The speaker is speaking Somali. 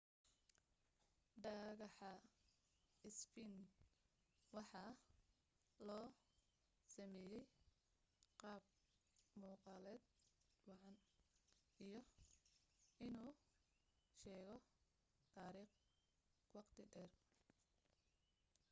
dhagaxa sphinx waxaa loo sameeyay qaab muuqaaleed wacan iyo inuu sheego taariikh wakhti dheer